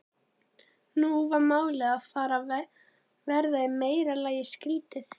Nú var málið farið að verða í meira lagi skrýtið.